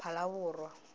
phalaborwa